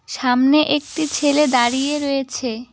ছামনে একটি ছেলে দাঁড়িয়ে রয়েছে।